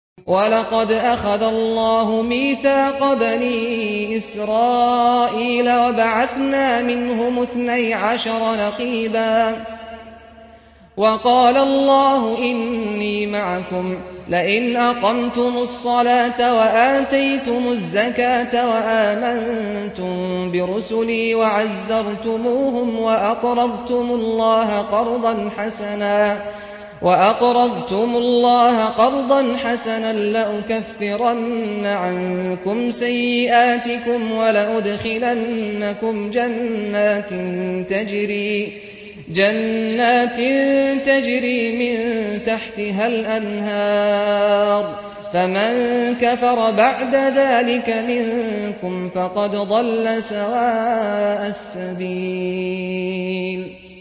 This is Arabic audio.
۞ وَلَقَدْ أَخَذَ اللَّهُ مِيثَاقَ بَنِي إِسْرَائِيلَ وَبَعَثْنَا مِنْهُمُ اثْنَيْ عَشَرَ نَقِيبًا ۖ وَقَالَ اللَّهُ إِنِّي مَعَكُمْ ۖ لَئِنْ أَقَمْتُمُ الصَّلَاةَ وَآتَيْتُمُ الزَّكَاةَ وَآمَنتُم بِرُسُلِي وَعَزَّرْتُمُوهُمْ وَأَقْرَضْتُمُ اللَّهَ قَرْضًا حَسَنًا لَّأُكَفِّرَنَّ عَنكُمْ سَيِّئَاتِكُمْ وَلَأُدْخِلَنَّكُمْ جَنَّاتٍ تَجْرِي مِن تَحْتِهَا الْأَنْهَارُ ۚ فَمَن كَفَرَ بَعْدَ ذَٰلِكَ مِنكُمْ فَقَدْ ضَلَّ سَوَاءَ السَّبِيلِ